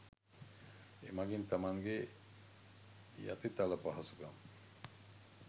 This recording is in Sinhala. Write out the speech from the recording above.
එමගින් තමන්ගේ යතිතල පහසුකම්